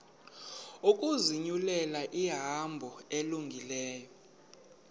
ukuzinyulela ihambo elungileyo